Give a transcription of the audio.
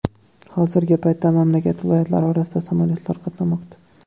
Hozirgi paytda mamlakat viloyatlari orasida samolyotlar qatnamoqda.